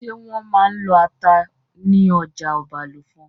Ṣé wọ́n máa n lọ ata ní ọjà Ọbàlùfọ̀n?